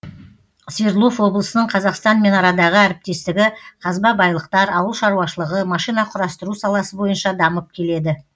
свердлов облысының қазақстанмен арадағы әріптестігі қазба байлықтар ауыл шаруашылығы машина құрастыру саласы бойынша дамып келеді